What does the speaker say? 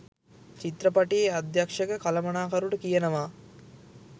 චිත්‍රපටියේ අධ්‍යක්ෂක කළමනාකරුට කියනවා.